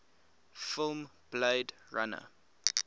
film blade runner